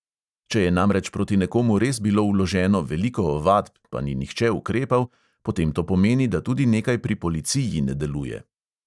Če je namreč proti nekomu res bilo vloženo veliko ovadb, pa ni nihče ukrepal, potem to pomeni, da tudi nekaj pri policiji ne deluje.